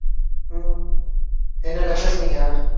உம் என்னென்ன பேசுனீங்க